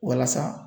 Walasa